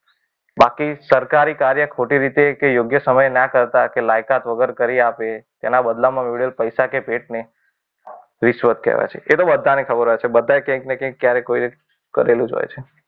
બાકી સરકારી કાર્ય ખોટી રીતે કે યોગ્ય સમયે ન કરતા કે લાયકાત વગર કરી આવે તેના બદલામાં પૈસા કે ભેટને રિસ્વત કહેવાય છે. એ તો બધાને ખબર હોય છે બધાએ ક્યાંક ને ક્યાંક ક્યારેક ને ક્યારેક કરેલું જ હોય છે.